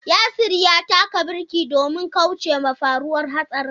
Yasir ya taka birki domin kaucewa faruwar hatsarin.